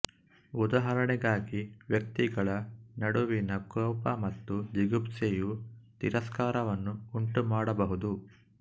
ಉದಾಹರಣೆಗಾಗಿ ವ್ಯಕ್ತಿಗಳ ನಡುವಿನ ಕೋಪ ಮತ್ತು ಜಿಗುಪ್ಸೆಯು ತಿರಸ್ಕಾರವನ್ನು ಉಂಟುಮಾಡಬಹುದು